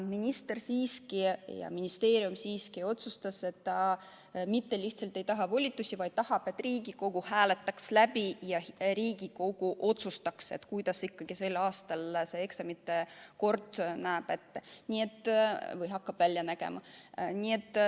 Minister ja ministeerium aga otsustasid, et nad ei taha lihtsalt volitusi, vaid tahavad, et Riigikogu hääletaks läbi ja Riigikogu otsustaks, kuidas ikkagi sel aastal eksamite kord hakkab välja nägema.